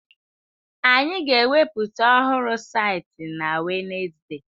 Anyị ga-eweputa ọhụrụ saịtị na Wenezde!